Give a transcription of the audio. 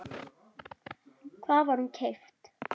Hvar var hún keypt?